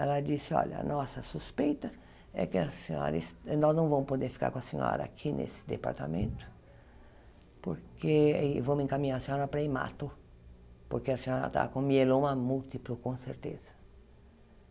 Ela disse, olha, a nossa suspeita é que a senhora es... nós não vamos poder ficar com a senhora aqui nesse departamento, porque... e vamos encaminhar a senhora para a Imato, porque a senhora está com mieloma múltiplo, com certeza.